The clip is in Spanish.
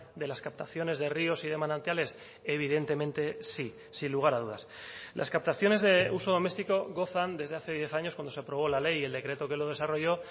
de las captaciones de ríos y de manantiales evidentemente sí sin lugar a dudas las captaciones de uso doméstico gozan desde hace diez años cuando se aprobó la ley y el decreto que lo desarrolló